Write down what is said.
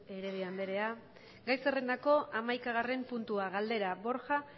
beltrán de heredia andrea gai zerrendako hamaikagarren puntua galdera borja